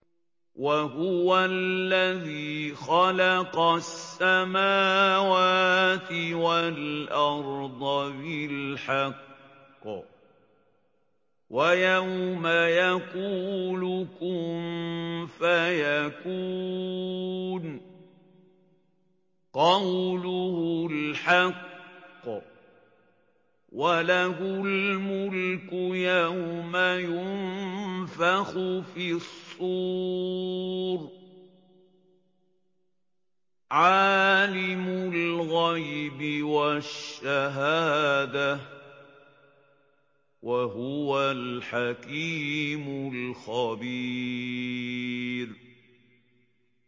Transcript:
وَهُوَ الَّذِي خَلَقَ السَّمَاوَاتِ وَالْأَرْضَ بِالْحَقِّ ۖ وَيَوْمَ يَقُولُ كُن فَيَكُونُ ۚ قَوْلُهُ الْحَقُّ ۚ وَلَهُ الْمُلْكُ يَوْمَ يُنفَخُ فِي الصُّورِ ۚ عَالِمُ الْغَيْبِ وَالشَّهَادَةِ ۚ وَهُوَ الْحَكِيمُ الْخَبِيرُ